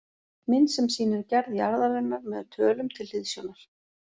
Mynd sem sýnir gerð jarðarinnar með tölum til hliðsjónar